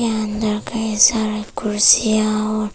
अंदर कैसा है कुर्सियां और--